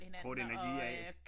Krudte energi af